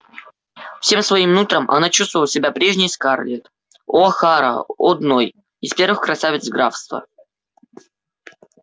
всем своим нутром она чувствовала себя прежней скарлетт охара-одной из первых красавиц графства